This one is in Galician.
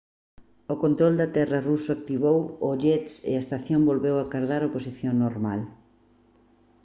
o control de terra ruso activou os jets e a estación volveu acadar a posición normal